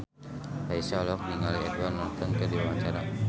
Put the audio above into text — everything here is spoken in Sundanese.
Raisa olohok ningali Edward Norton keur diwawancara